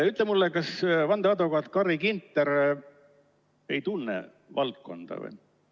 " Ütle mulle, kas vandeadvokaat Carri Ginter ei tunne valdkonda?